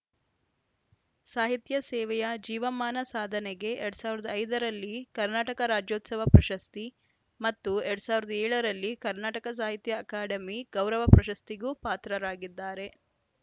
ಸಾಹಿತ್ಯ ಸೇವೆಯ ಜೀವಮಾನ ಸಾಧನೆಗೆ ಎರಡ್ ಸಾವಿರದ ಐದ ರಲ್ಲಿ ಕರ್ನಾಟಕ ರಾಜ್ಯೋತ್ಸವ ಪ್ರಶಸ್ತಿ ಮತ್ತು ಎರಡ್ ಸಾವಿರದ ಏಳ ಲ್ಲಿ ಕರ್ನಾಟಕ ಸಾಹಿತ್ಯ ಅಕಾಡೆಮಿ ಗೌರವ ಪ್ರಶಸ್ತಿಗೂ ಪಾತ್ರರಾಗಿದ್ದಾರೆ